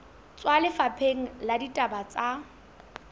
tswa lefapheng la ditaba tsa